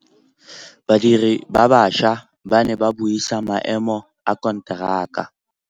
Badiri ba baša ba ne ba buisa maêmô a konteraka.